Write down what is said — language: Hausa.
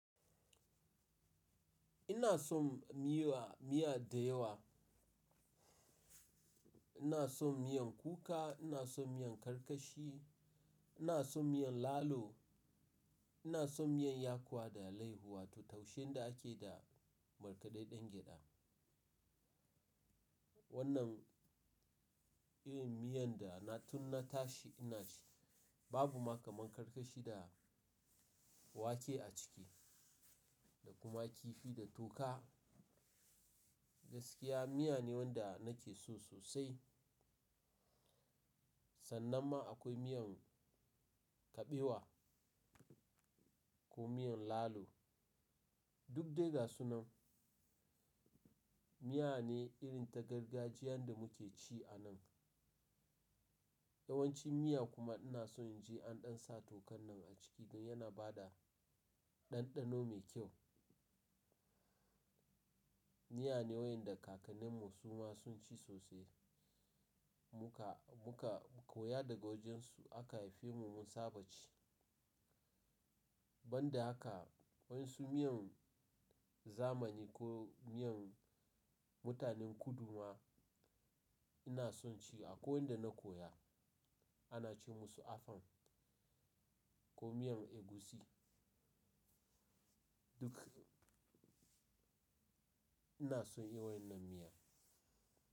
Ina son miya, miya da yawa. Ina son miyan kuka, ina son miyan karkashi, ina son miyan lalo, ina son miyan yakuwa da alaihu wato taushen da ake da markaɗaɗɗen gyaɗa. Wannan irin miyan da na tun na tashi ina ci. Babu ma kaman karkashi da wake a ciki da kuma kifi da toka. Gaskiya miya ne wanda nake so sosai. Sannan ma akwai miyan kabewa ko miyan lalo. Duk dai ga su nan miya ne irin ta gargajiyan da muke ci anan. Yawanci miya kuma ina son in je an ɗan sa tokan nan a ciki don yana bada ɗanɗano mai kyau. Miya ne wayanda kakanninmu su ma sun ci sosai. Muka, muka koya daga wajen su aka haife mu mun saba ci. Ban da haka wasu miyan zamani ko miyan mutanen kudu ma ina son ci a kwai wanda na koya. Ana ce musu afang ko miyan egusi. Duk ina son yawannan miya.